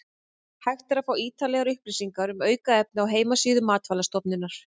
Hægt er að fá ítarlegar upplýsingar um aukefni á heimasíðu Matvælastofnunar.